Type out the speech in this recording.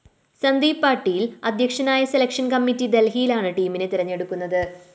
സന്ദീപ് പാട്ടീല്‍ അധ്യക്ഷനായ selection committee ദല്‍ഹിയിലാണ് ടീമിനെ തെരഞ്ഞെടുക്കുന്നത്